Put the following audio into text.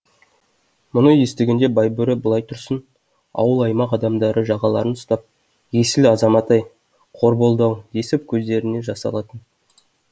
мұны естігенде байбөрі былай тұрсын ауыл аймақ адамдары жағаларын ұстап есіл азамат ай қор болды ау десіп көздеріне жас алатын